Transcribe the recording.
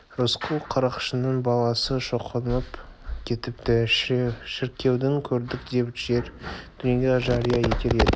рысқұл қарақшының баласы шоқынып кетіпті шіркеуден көрдік деп жер дүниеге жария етер еді